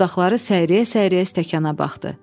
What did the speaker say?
Dodaqları səyriyə-səyriyə stəkana baxdı.